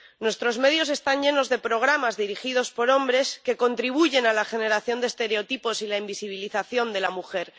Nuestros medios están llenos de programas dirigidos por hombres que contribuyen a la generación de estereotipos y la invisibilización de la mujer.